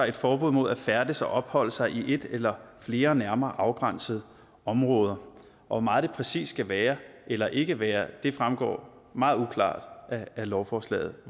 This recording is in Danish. et forbud mod at færdes og opholde sig i et eller flere nærmere afgrænsede områder hvor meget det præcis skal være eller ikke være fremgår meget uklart af lovforslaget